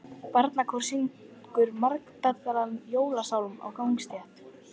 Barnakór syngur margraddaðan jólasálm á gangstétt.